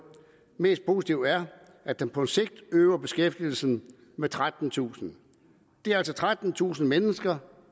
mest positive er at den på sigt øger beskæftigelsen med trettentusind det er altså trettentusind mennesker